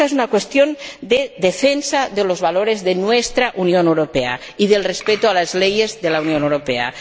Ésta es una cuestión de defensa de los valores de nuestra Unión Europea y del respeto a las leyes de la Unión Europea.